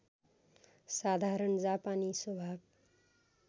साधारण जापानी स्वभाव